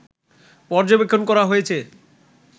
পর্যবেক্ষণ করা হয়েছে